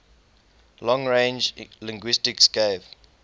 long range linguistics gave